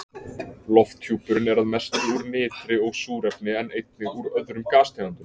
Lofthjúpurinn er að mestu úr nitri og súrefni en einnig úr öðrum gastegundum.